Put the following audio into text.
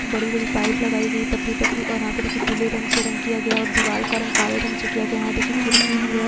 बड़ी बड़ी पाइप लगाई गयी है पतली पतली और यहाँ पे देखिये पिले रंग से रंग किया गया है और दिवार का रंग काले रंग से किया गया है वहां देखिये खिड़की भी है। --